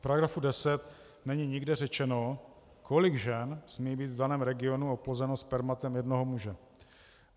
V § 10 není nikde řečeno, kolik žen smí být v daném regionu oplozeno spermatem jednoho muže.